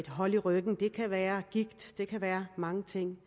hold i ryggen det kan være gigt det kan være mange ting